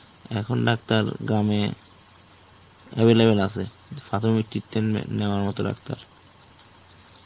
এখন Doctor গ্রামে available আছে প্রাথমিক treatment নেওয়ার মতো Doctor.